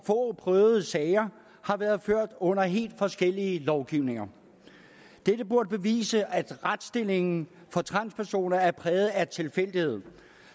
prøvede sager har været ført under helt forskellige lovgivninger dette burde bevise at retsstillingen for transpersoner er præget af tilfældighed